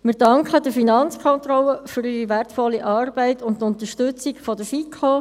Wir danken der Finanzkontrolle für ihre wertvolle Arbeit und die Unterstützung der FiKo.